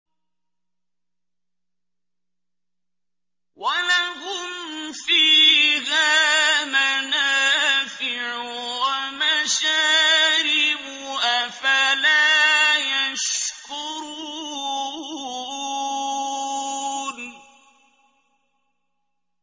وَلَهُمْ فِيهَا مَنَافِعُ وَمَشَارِبُ ۖ أَفَلَا يَشْكُرُونَ